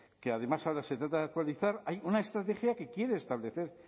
que además ahora se trata de actualizar hay una estrategia que quiere establecer